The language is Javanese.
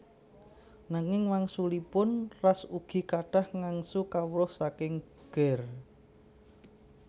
Nanging wangsulipun Ras ugi kathah ngangsu kawruh saking Ger